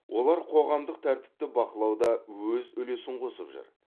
олар қоғамдық тәртіпті бақылауда өз үлесін қосып жүр